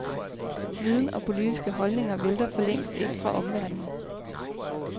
Viden og politiske holdninger vælter for længst ind fra omverdenen.